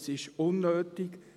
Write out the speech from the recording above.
Es ist unnötig.